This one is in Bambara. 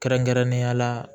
Kɛrɛnkɛrɛnnenya la